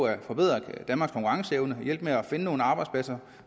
at forbedre danmarks konkurrenceevne hjælpe med at finde nogle arbejdspladser